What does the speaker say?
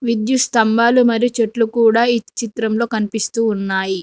విద్యుత్ స్తంభాలు మరియు చెట్లు కూడా ఈ చిత్రంలో కనిపిస్తూ ఉన్నాయి.